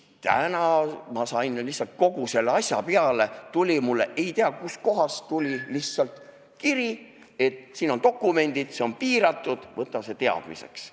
Täna lihtsalt kogu selle asja peale tuli mulle ei tea kust kohast kiri, et siin on dokumendid, see on piiratud, võta see teadmiseks.